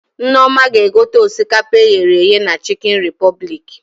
Nneoma ga egote osikapa e ghere eghe na Chikin Repụblik